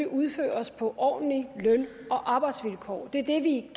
udføres på ordentlige løn og arbejdsvilkår det er det vi